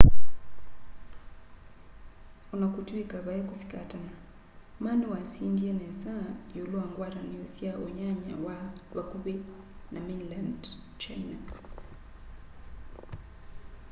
ona kutw'ika vai kusikatana ma niwasindie nesa iulu wa ngwatanio sya unyanya wa vakuvi na mainland china